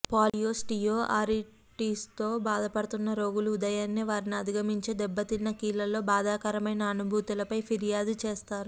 పాలియోస్టీయోఆర్రిటిస్తో బాధపడుతున్న రోగులు ఉదయాన్నే వారిని అధిగమించే దెబ్బతిన్న కీళ్ళలో బాధాకరమైన అనుభూతులపై ఫిర్యాదు చేస్తారు